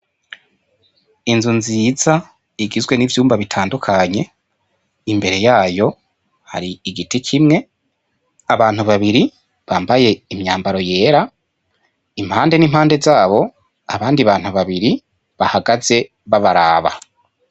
Inzu nziza igizwe n'ivyumba bitadukanye imbere yayo har'igiti kimwe, abantu babiri bambaye imyambaro yera impande n'impande zabo abandi bantu babiri bahagaze babaraba.